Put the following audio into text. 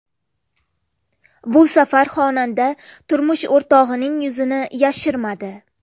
Bu safar xonanda turmush o‘rtog‘ining yuzini yashirmadi.